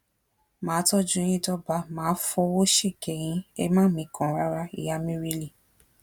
má a tọjú yín dọba má a fọwọ síkẹ yín ẹ má mikàn rárá ìyá mírílì